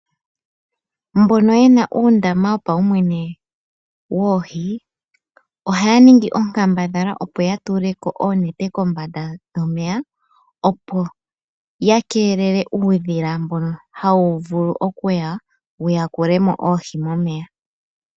Mbono yena uundamba wopaumwene woohi ohaya ningi onkambadhala opo ya tule ko oonete kombanda yomeya, opo ya keelele uudhila mbono hawu vulu okua ya wu yakule mo oohi momeya.